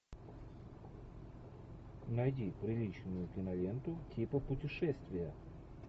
найди приличную киноленту типа путешествия